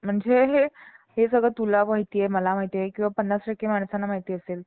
Hello ma'am